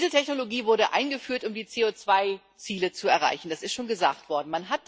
Die Dieseltechnologie wurde eingeführt, um die CO2 Ziele zu erreichen, das ist schon gesagt worden.